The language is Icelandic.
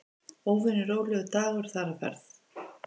Óvenju rólegur dagur þar á ferð.